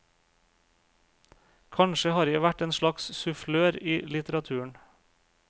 Kanskje har jeg vært en slags sufflør i litteraturen.